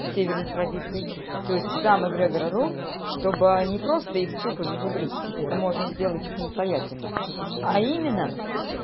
северных традиций то есть сам эгрегор рун чтобы не просто их тупо зазубрить это можно сделать и самостоятельно а именно